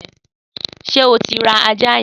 Sé o ti ra àjá yen?